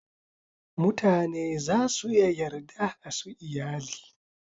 Mutane za su iya yarda a su iyali.